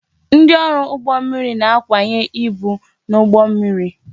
Ndị ọrụ ụgbọ mmiri na-akwanye ibu n'ụgbọ mmiri